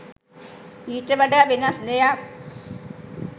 ඊට වඩා වෙනස් දෙයක්.